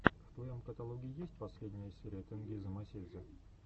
в твоем каталоге есть последняя серия тенгиза мосидзе